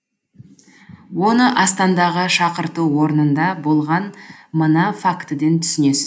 оны астандағы шақырту орнында болған мына фактіден түсінесіз